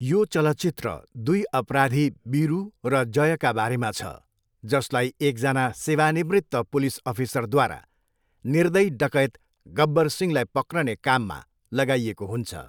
यो चलचित्र दुई अपराधी वीरू र जयका बारेमा छ, जसलाई एकजना सेवानिवृत्त पुलिस अफिसरद्वारा निर्दयी डकैत गब्बर सिंहलाई पक्रने काममा लगाइएको हुन्छ।